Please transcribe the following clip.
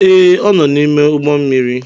Ee, ọ nọ n'ime ụgbọ mmiri.